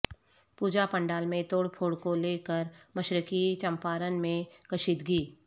پوجا پنڈال میں توڑ پھوڑ کو لے کر مشرقی چمپارن میں کشیدگی